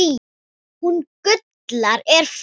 Hún Gulla er farin